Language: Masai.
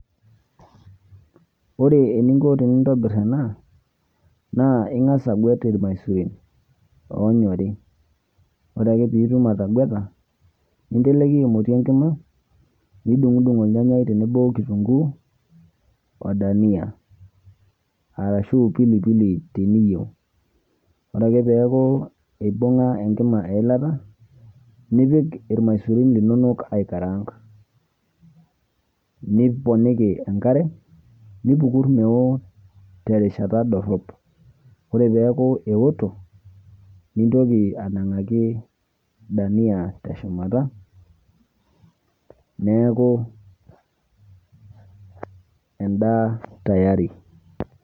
Ore eninko tenintobirr ena naa ing'as aguet irmasurin oonyori. Ore ake piitum atagueta ninteleki emoti enkima nidung'udung' olnyanyai otenebo okitunguu odania arashuu  pilipili teniyou, ore ake peakuu eibung'a enkima eilata nipik irmaisurin linonok aikarang niponiki enkare nipukurr meoo terishata dorrop. Ore peakuu eoto, nintoki anang'aki  dania teshumata neaku endaa tayari.